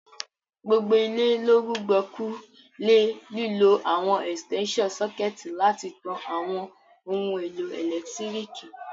Gbogbo ilé lo rùgbọ̀kú le lílo àwon extension sucket láti tan àwon oun èlò ẹ́lẹ̀ntirikì